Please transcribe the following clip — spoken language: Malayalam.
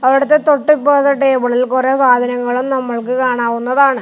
അവിടുത്തെ തൊട്ടിപ്പറത്തെ ടേബിളിൽ കൊറേ സാധനങ്ങളും നമ്മൾക്ക് കാണാവുന്നതാണ്.